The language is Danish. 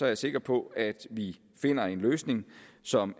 jeg sikker på at vi finder en løsning som